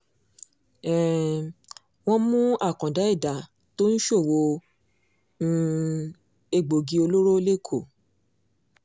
um wọ́n mú àkàndá ẹ̀dà tó ń ṣòwò um egbòogi olóró lẹ́kọ̀ọ́